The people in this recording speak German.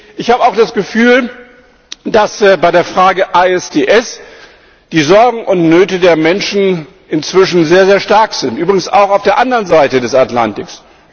Ich habe auch das Gefühl, dass bei der Frage ISDS die Sorgen und Nöte der Menschen inzwischen sehr, sehr stark sind übrigens auch auf der anderen Seite des Atlantiks.